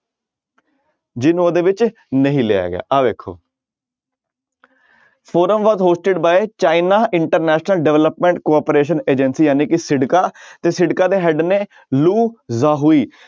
ਜਿਹਨੂੰ ਉਹਦੇ ਵਿੱਚ ਨਹੀਂ ਲਿਆ ਗਿਆ ਆਹ ਵੇਖੋ forum was hosted by China international development cooperation agency ਜਾਣੀ ਕਿ ਸਿਡਕਾ ਤੇ ਸਿਡਕਾ ਦੇ head ਨੇ ਲੂ ਯਾਹੂਈ